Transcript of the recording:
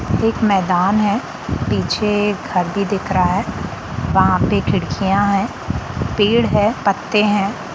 मैदान है पीछे घर भी दिख रहा है वहाँ पे खिड़किया है पेड़ है पत्ते है।